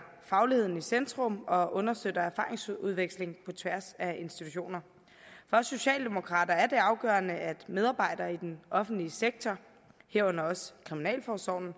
fagligheden i centrum og understøtter erfaringsudveksling på tværs af institutioner for os socialdemokrater er det afgørende at medarbejdere i den offentlige sektor herunder kriminalforsorgen